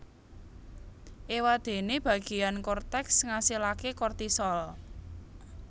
Éwadéné bagéan korteks ngasilaké kortisol